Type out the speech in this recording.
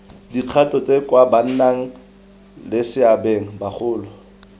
dikgato tse kwa bannaleseabeng bagolo